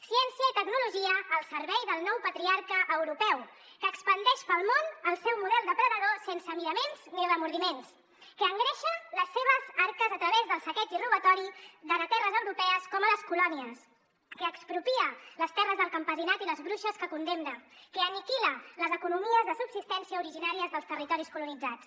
ciència i tecnologia al servei del nou patriarca europeu que expandeix pel món el seu model depredador sense miraments ni remordiments que engreixa les seves arques a través del saqueig i robatori tant a terres europees com a les colònies que expropia les terres del campesinat i les bruixes que condemna que aniquila les economies de subsistència originàries dels territoris colonitzats